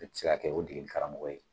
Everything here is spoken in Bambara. A bɛ se ka kɛ o degeli karamɔgɔ ye.